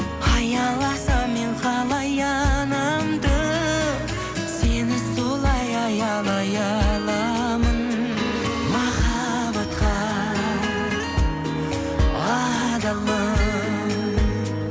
аяласам мен қалай анамды сені солай аялай аламын махаббатқа адалмын